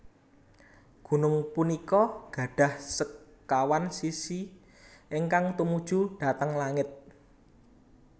Gunung punika gadhah sekawan sisi ingkang tumuju dhateng langit